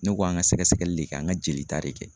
Ne k'an ka sɛgɛsɛgɛli de kɛ, an ka jolita de kɛ.